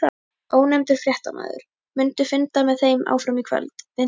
Ónefndur fréttamaður: Mundu funda með þeim áfram í kvöld, Vinstri-grænum?